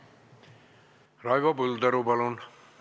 Raivo Põldaru, palun!